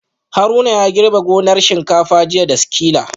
Haruna ya girbe gonar shinkafa jiya da sikila